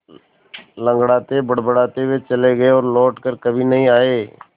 लँगड़ाते बड़बड़ाते वे चले गए और लौट कर कभी नहीं आए